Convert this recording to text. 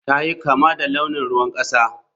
Ta yi kama da launin ruwan kasa.